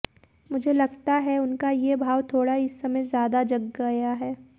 मुझे लगता है उनका ये भाव थोड़ा इस समय ज्यादा जग गया है